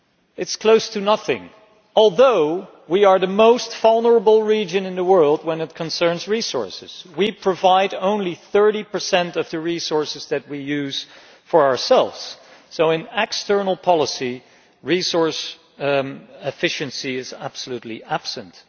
It is close to nothing, although we are the most vulnerable region in the world where resources are concerned. We provide only 30 of the resources that we use for ourselves, so in external policy, resource efficiency is absolutely absent.